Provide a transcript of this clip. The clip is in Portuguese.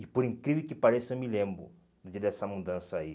E por incrível que pareça, eu me lembro dele essa mudança aí.